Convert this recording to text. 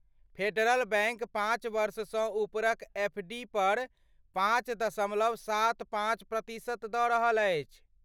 Federal Bank पाँच वर्षसँ उपरक एफ डी पर पाँच दशमलव सात पाँच प्रतिशत दऽ रहल अछि।